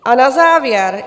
A na závěr.